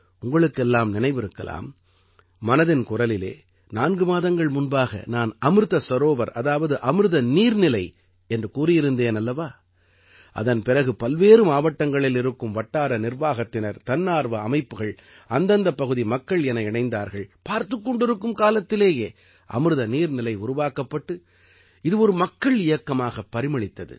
உங்களுக்கெல்லாம் நினைவிருக்கலாம் மனதின் குரலிலே நான்கு மாதங்கள் முன்பாக நான் அமிர்த சரோவர் அதாவது அமிர்த நீர்நிலை என்று கூறியிருந்தேன் அல்லவா அதன் பிறகு பல்வேறு மாவட்டங்களில் இருக்கும் வட்டார நிர்வாகத்தினர் தன்னார்வ அமைப்புகள் அந்தந்தப் பகுதி மக்கள் என இணைந்தார்கள் பார்த்துக் கொண்டிருக்கும் காலத்திலேயே அமிர்த நீர்நிலை உருவாக்கப்பட்டு இது ஒரு மக்கள் இயக்கமாகப் பரிமளித்தது